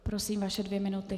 Prosím, vaše dvě minuty.